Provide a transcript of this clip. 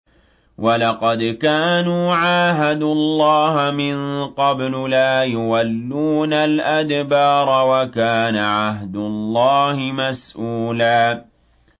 وَلَقَدْ كَانُوا عَاهَدُوا اللَّهَ مِن قَبْلُ لَا يُوَلُّونَ الْأَدْبَارَ ۚ وَكَانَ عَهْدُ اللَّهِ مَسْئُولًا